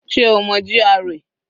Sé o mọ GRA?